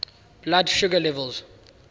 blood sugar level